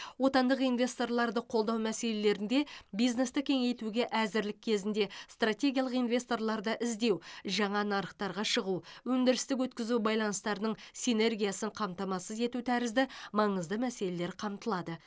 отандық инвесторларды қолдау мәселелерінде бизнесті кеңейтуге әзірлік кезінде стратегиялық инвесторларды іздеу жаңа нарықтарға шығу өндірістік өткізу байланыстарының синергиясын қамтамасыз ету тәрізді маңызды мәселелер қамтылады